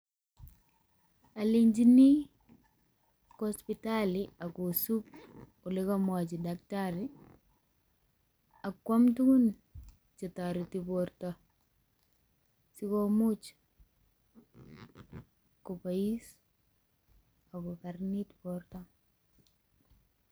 Alenjini kwo sipitalit agosub ole komwochi daktari akwam tugun che toreti borto sigomuch koboiss ago karanit borto.